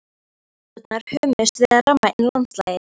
Gluggarúðurnar hömuðust við að ramma inn landslagið.